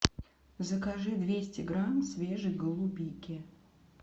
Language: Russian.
закажи двести грамм свежей голубики